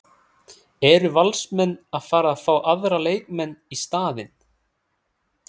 Eru Valsmenn að fara að fá aðra leikmenn í staðinn?